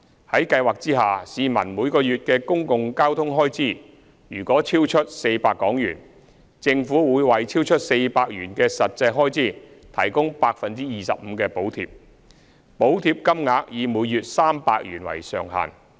在計劃下，市民每月的公共交通開支若超出400元，政府會為超出400元的實際開支提供 25% 的補貼，補貼金額以每月300元為上限。